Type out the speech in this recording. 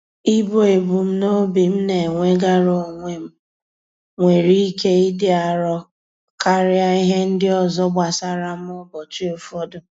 Ibu ebumnobi m na-enwegara onwe m, nwere ike ịdị arọ karịa ihe ndị ọzọ gbasara m ụbọchị ụfọdụ.